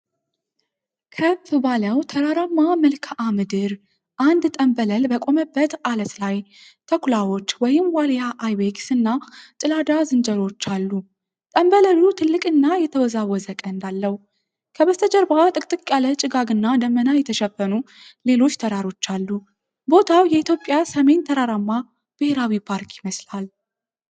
ከፍ ባለው ተራራማ መልክዓ ምድር፣ አንድ ጠምበል በቆመበት ዐለት ላይ ተኩላዎች (ዋልያ አይቤክስ) እና ጭላዳ ዝንጀሮዎች አሉ። ጠምበሉ ትልቅና የተወዛወዘ ቀንድ አለው። ከበስተጀርባ ጥቅጥቅ ያለ ጭጋግና ደመና የተሸፈኑ ሌሎች ተራሮች አሉ። ቦታው የኢትዮጵያ ሲሚን ተራራማ ብሔራዊ ፓርክ ይመስላል።